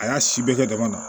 A y'a si bɛɛ kɛ dama na